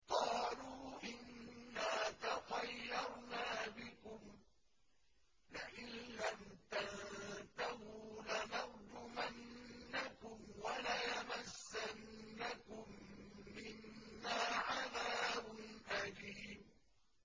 قَالُوا إِنَّا تَطَيَّرْنَا بِكُمْ ۖ لَئِن لَّمْ تَنتَهُوا لَنَرْجُمَنَّكُمْ وَلَيَمَسَّنَّكُم مِّنَّا عَذَابٌ أَلِيمٌ